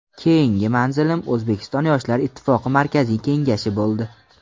Keyingi manzilim O‘zbekiston Yoshlar ittifoqi Markaziy Kengashi bo‘ldi.